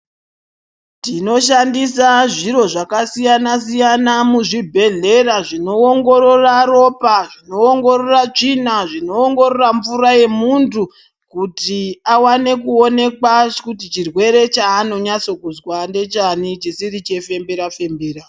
Tinoshandisa zviro zvakasiyanasiyana muzvibhehleya zvinoongorora ropa, zvinoongorora tsvina ,zvinoongorora mvura yemuntu kuti awane kuonekwa kuti chirwere chaanozwa ngechani chisiri chefembera fembera.